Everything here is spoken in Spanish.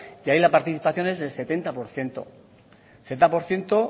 y ahí la participación es del setenta por ciento setenta por ciento